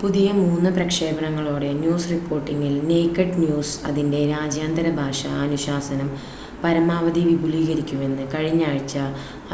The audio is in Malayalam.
പുതിയ മൂന്ന് പ്രക്ഷേപണങ്ങളോടെ ന്യൂസ് റിപ്പോർട്ടിംഗിൽ നേകഡ് ന്യൂസ് അതിൻ്റെ രാജ്യാന്തര ഭാഷ അനുശാസനം പരമാവധി വിപുലീകരിക്കുമെന്ന് കഴിഞ്ഞാഴ്ച